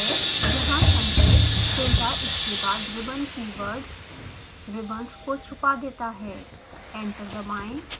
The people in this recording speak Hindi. यहाँ संकेत tilda इसके बाद ribbon keyword ribbons को छुपा देता है